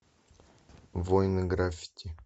воины граффити